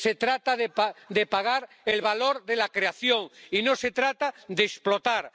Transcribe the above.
Se trata de pagar el valor de la creación y no se trata de explotar.